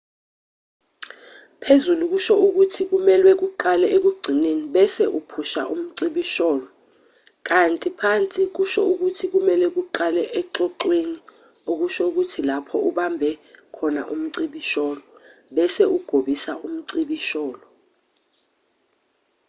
phezulu kusho ukuthi kumelwe uqale ekugcineni bese uphusha umcibisholo kanti phansi kusho ukuthi kumelwe uqale exoxweni okusho ukuthi lapho ubambe khona umcibisholo bese ugobisa umcibisholo